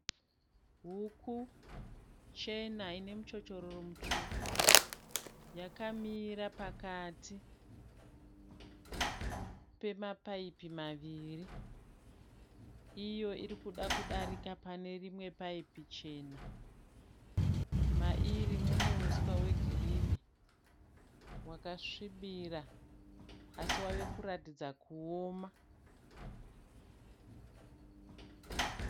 Huku chena ine muchochororo mutsvuku. Yakamira pakati pemapaipi maviri. Iyo iri kuda kudarika pane rimwe paipi, ichena. Mairi mune uswa hwakasvibira asi wawe kuratidza kuoma.